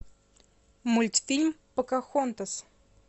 мультфильм покахонтас